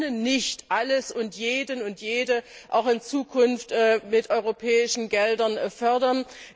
Wir können nicht alles und jeden und jede auch in Zukunft mit europäischen Geldern fördern.